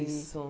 Isso.